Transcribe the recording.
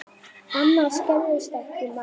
Annars gerðist ekki margt.